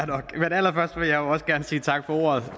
allerførst vil jeg jo også gerne sige tak for ordet